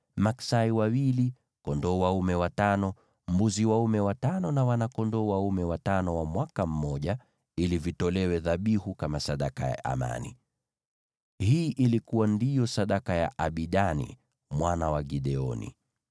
maksai wawili, kondoo dume watano, mbuzi dume watano na wana-kondoo dume watano wa mwaka mmoja, ili vitolewe dhabihu kama sadaka ya amani. Hii ndiyo ilikuwa sadaka ya Abidani mwana wa Gideoni.